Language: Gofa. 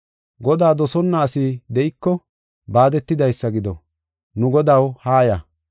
Godaa dosonna asi de7iko, baadetidaysa gido. Nu Godaw, haaya!